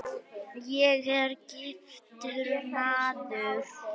Ég er giftur maður.